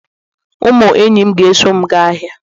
Ụmụ enyi m ga-eso m gaa ahịa